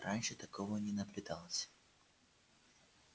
раньше такого не наблюдалось